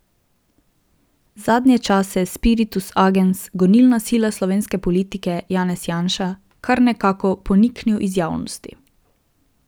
Zadnje čase je spiritus agens, gonilna sila slovenske politike, Janez Janša, kar nekako poniknil iz javnosti.